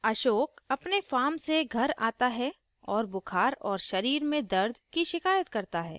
ashok अपने farm से घर आता है और बुखार और शरीर में दर्द की शिकायत करता है